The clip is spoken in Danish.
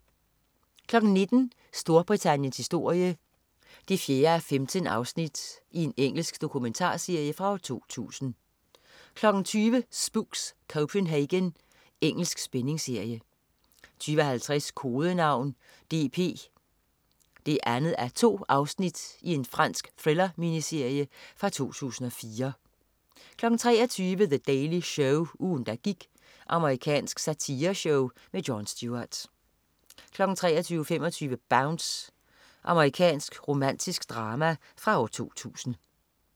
19.00 Storbritanniens historie 4:15. Engelsk dokumentarserie fra 2000 20.00 Spooks: Copenhagen. Engelsk spændingsserie 20.50 Kodenavn DP 2:2. Fransk thriller-miniserie fra 2004 23.00 The Daily Show. Ugen, der gik. Amerikansk satireshow. Jon Stewart 23.25 Bounce. Amerikansk romantisk drama fra 2000